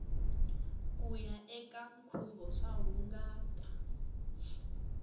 kuya eka nkhuvo swa hungata